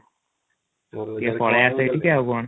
ପଳେଇଆ ସେଇଠିକି ଆଉ କ'ଣ?